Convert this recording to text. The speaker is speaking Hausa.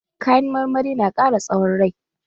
Kayan marmari na ƙara tsawon rai.